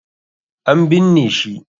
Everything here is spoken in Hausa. An binne shi.